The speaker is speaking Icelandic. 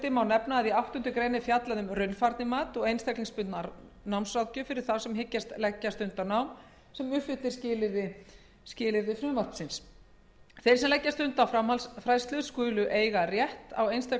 má nefna að í áttundu grein er fjallað um raunfærnimat og einstaklingsbundna námsráðgjöf fyrir þá sem hyggjast leggja stund á nám sem uppfyllir skilyrði frumvarpsins þeir sem leggja stund á framhaldsfræðslu skulu eiga rétt á